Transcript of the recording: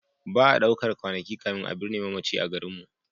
Ba a ɗaukar kwanaki kafin a binne mamaci a garinmu.